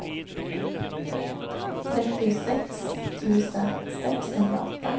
trettiosex tusen sexhundraåtta